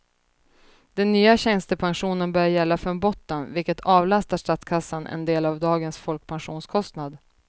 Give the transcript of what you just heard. Den nya tjänstepensionen börjar gälla från botten, vilket avlastar statskassan en del av dagens folkpensionskostnad.